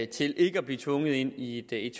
til ikke at blive tvunget ind i et